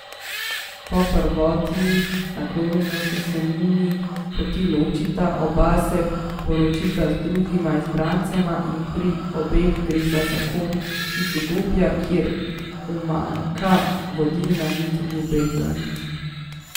Po prvotni naklonjenosti se njuni poti ločita, oba se poročita z drugima izbrancema in pri obeh gre za zakon iz udobja, kjer umanjka vodilna nit, ljubezen.